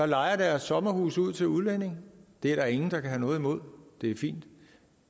lejer deres sommerhuse ud til udlændinge det er der ingen der kan have noget imod det er fint